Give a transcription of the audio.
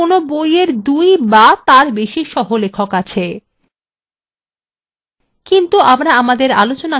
এমনও হতে পারে কোনো বইএর দুই বা তার বেশি সহলেখক আছে